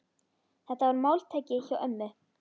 Þetta var máltæki hjá ömmu.